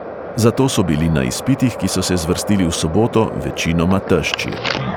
Zato so bili na izpitih, ki so se zvrstili v soboto, večinoma tešči.